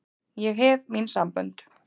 Ég hef mín sambönd.